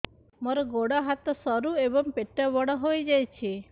ମୋର ଗୋଡ ହାତ ସରୁ ଏବଂ ପେଟ ବଡ଼ ହୋଇଯାଇଛି